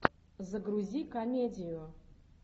загрузи комедию